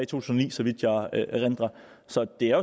tusind og ni så vidt jeg erindrer så det er